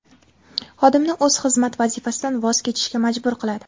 Xodimni o‘z xizmat vazifasidan voz kechishga majbur qiladi.